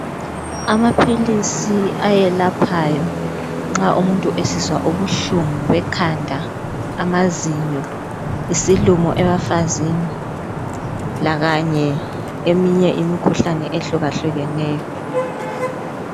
Amaphilisi ayelaphayo nxa umuntu esizwa ubuhlungu bekhanda ,amazinyo, isilumo ebafazini lakanye eminye imikhuhlane ehlukahlukeneyo.